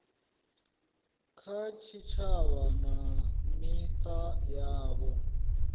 kha tshitshavha na mita yavho